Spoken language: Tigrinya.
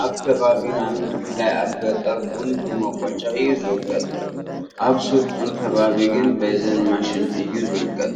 ኣብ ከባቢና ብፍላይ ኣብ ገጠር ቡን ብመቆጫ እዩ ዝውቀጥ፡፡ ኣብ ስልጡን ከባቢ ግን በዘን ማሽን እዩ ዝውቀጥ፡፡